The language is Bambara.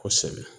Kosɛbɛ